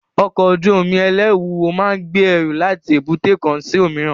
Ọkọ̀ ojú omi ẹlẹru wúwo máa ń gbé ẹrù láti èbúté kan sí òmíràn